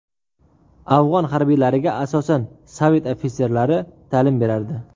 Afg‘on harbiylariga asosan Sovet ofitserlari ta’lim berardi.